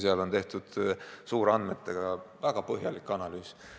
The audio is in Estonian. Seal on tehtud suurandmete väga põhjalik analüüs.